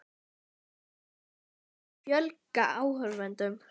Hvernig má fjölga áhorfendum?